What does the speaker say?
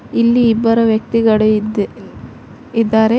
ಇಲ್ಲಿ ಇಬ್ಬರ ವ್ಯಕ್ತಿಗಳು ಇದ್ ಇದಾರೆ.